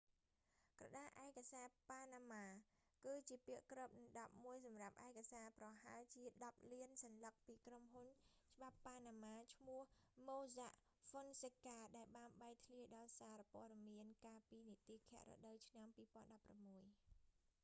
"ក្រដាស់ឯកសារប៉ាណាម៉ា panama papers គឺជាពាក្យគ្របដណ្តប់មួយសម្រាប់ឯកសារប្រហែលជាដប់លានសន្លឹកពីក្រុមហ៊ុនច្បាប់ប៉ាណាម៉ាឈ្មោះ mossack fonseca ដែលបានបែកធ្លាយដល់សារព័ត៌មានកាលពីនិទាឃរដូវឆ្នាំ 2016 ។